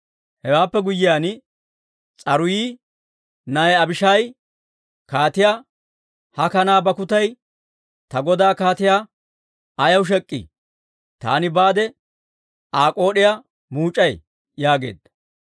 Hewaappe guyyiyaan, S'aruuyi na'ay Abishaayi kaatiyaa, «Ha kanaa bakkutay ta godaa kaatiyaa ayaw shek'k'ii? Taani baade Aa k'ood'iyaa muuc'ay» yaageedda.